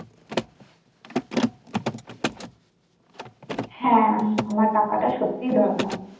হ্যা আমার টাকাটা সত্যিই দরকার।